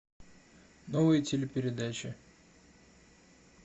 новые телепередачи